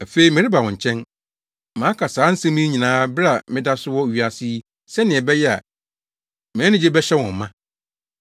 “Afei mereba wo nkyɛn. Maka saa nsɛm yi nyinaa bere a meda so wɔ wiase yi sɛnea ɛbɛyɛ a mʼanigye bɛhyɛ wɔn ma.